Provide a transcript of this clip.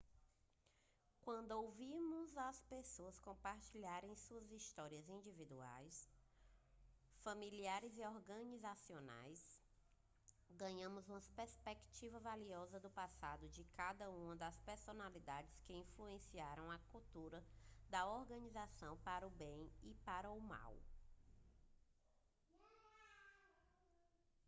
quando ouvimos as pessoas compartilharem suas histórias individuais familiares e organizacionais ganhamos uma perspectiva valiosa do passado e de algumas das personalidades que influenciaram a cultura da organização para o bem e para o mal